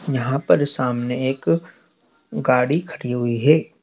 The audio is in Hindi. यहां पर सामने एक गाड़ी खड़ी हुई है।